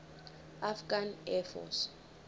afghan air force